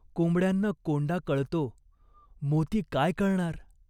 कोंबड्यांना कोंडा कळतो. मोती काय कळणार ?